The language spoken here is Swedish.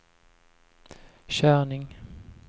körning